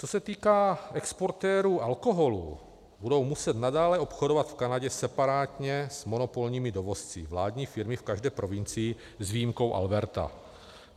Co se týká exportérů alkoholu, budou muset nadále obchodovat v Kanadě separátně s monopolními dovozci vládní firmy v každé provincii, s výjimkou Alberty